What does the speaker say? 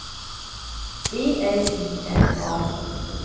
E L I N A